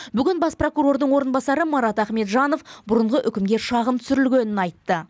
бүгін бас прокурордың орынбасары марат ахметжанов бұрынғы үкімге шағым түсірілгенін айтты